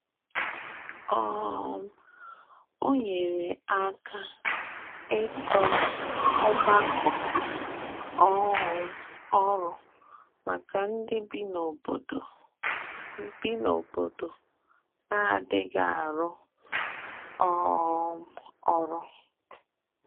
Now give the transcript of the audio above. um Ọ nyere aka ịtọ ọgbakọ um ọrụ maka ndị bi n’obodo bi n’obodo na-adịghị arụ um ọrụ.